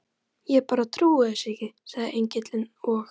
Ég bara trúi þessu ekki, sagði Engillinn, og